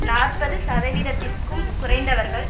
நாற்பது சதவீதத்திற்கும் குறைந்தவர்கள்